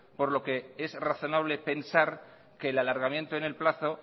por lo que es razonable pensar que el alargamiento en el plazo